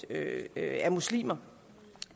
er muslimer